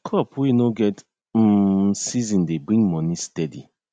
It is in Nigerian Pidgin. crop wey nor get um season dey bring moni steady